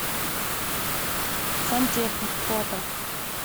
сантехник фото